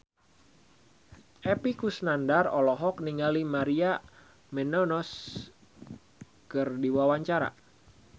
Epy Kusnandar olohok ningali Maria Menounos keur diwawancara